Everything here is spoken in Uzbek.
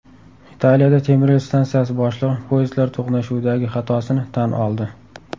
Italiyada temiryo‘l stansiyasi boshlig‘i poyezdlar to‘qnashuvidagi xatosini tan oldi.